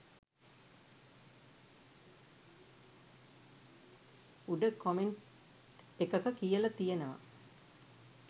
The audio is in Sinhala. උඩ කොමෙන්ට් එකක කියල තියෙනව